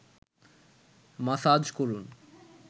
massage করুন